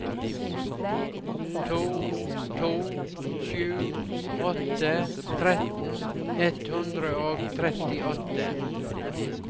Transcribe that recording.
to to sju åtte tretten ett hundre og trettiåtte